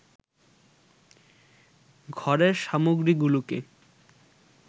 ঘরের সামগ্রীগুলোকে